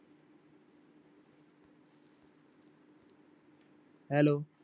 Hello